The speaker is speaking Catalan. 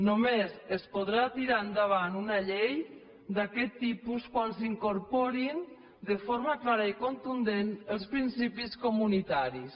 només es podrà tirar endavant una llei d’aquest tipus quan s’hi incorporin de forma clara i contundent els principis comunitaris